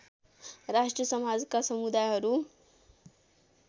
राष्ट्रिय समाजका समुदायहरू